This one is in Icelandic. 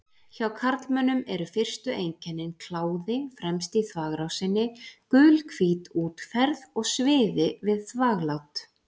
Hjá karlmönnum eru fyrstu einkennin kláði fremst í þvagrásinni, gulhvít útferð og sviði við þvaglát.